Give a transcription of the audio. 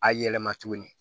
A yɛlɛma tuguni